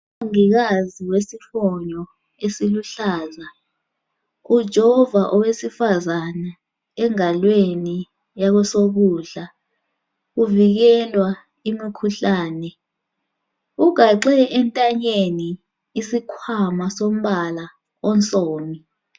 Umongikazi wesifonyo esiluhlaza ujova owesifazane engalweni yakwesokudla uvikelwa imikhuhlane ugaxe entanyeni isikhwama sombala onsundu.